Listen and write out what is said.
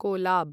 कोलाब्